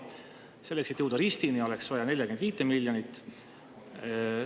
Selleks, et jõuda Ristini, oleks vaja 45 miljonit.